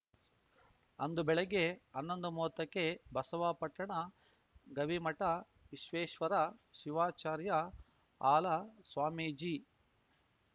ಅಂದು ಬೆಳಿಗ್ಗೆ ಅನ್ನೊಂದುಮೂವತ್ತಕ್ಕೆ ಬಸವಾಪಟ್ಟಣ ಗವಿಮಠ ವಿಶ್ವೇಶ್ವರ ಶಿವಾಚಾರ್ಯ ಹಾಲಸ್ವಾಮೀಜಿ